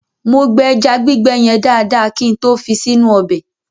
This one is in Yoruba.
Mo gbẹ ẹja gbígbẹ yẹn dáadáa kin tó fi sínú ọbẹ̀.